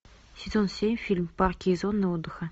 сезон семь фильм парки и зоны отдыха